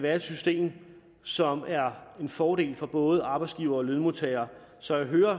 er et system som er en fordel for både arbejdsgivere og lønmodtagere så jeg hører